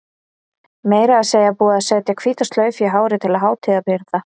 Meira að segja búin að setja hvíta slaufu í hárið til hátíðarbrigða.